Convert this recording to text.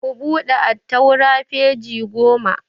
Ku buɗe attaura peji goma!